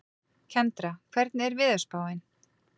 Kendra, hvernig er veðurspáin?